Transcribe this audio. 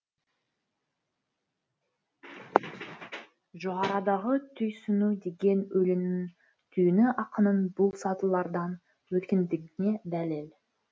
жоғарыдағы түйсіну деген өлеңнің түйіні ақынның бұл сатылардан өткендігіне дәлел